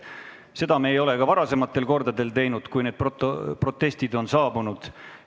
Seda ei ole me teinud ka varasematel kordadel, kui protestid on saabunud.